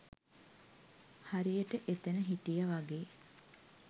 හරියට එතැන හිටිය වගේ